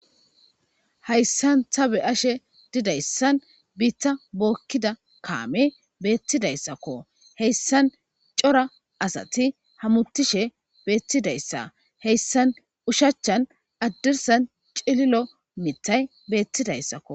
Hayissani ta b'ashe dizayisani bitta bokidda kame betidayisako hayissani corra assati hamutishe betidayissa HASANI ushachani hadirisan cililo mithayi betidayissako